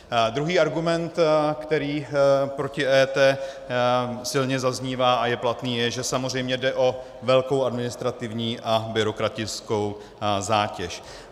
Druhý argument, který proti EET silně zaznívá a je platný, je, že samozřejmě jde o velkou administrativní a byrokratickou zátěž.